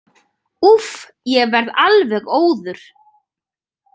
Úff, ég verð alveg óður.